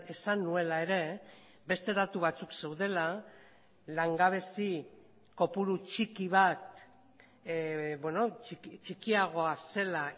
esan nuela ere beste datu batzukzeudela langabezi kopuru txiki bat txikiagoa zela